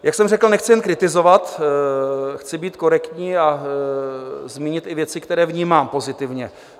Jak jsem řekl, nechci jen kritizovat, chci být korektní a zmínit i věci, které vnímám pozitivně.